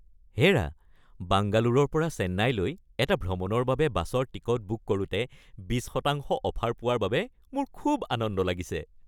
হে'ৰা! বাংগালোৰৰ পৰা চেন্নাইলৈ এটা ভ্ৰমণৰ বাবে বাছৰ টিকট বুক কৰোঁতে বিশ শতাংশ অফাৰ পোৱাৰ বাবে মোৰ খুব আনন্দ লাগিছে।